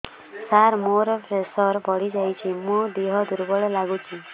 ସାର ମୋର ପ୍ରେସର ବଢ଼ିଯାଇଛି ମୋ ଦିହ ଦୁର୍ବଳ ଲାଗୁଚି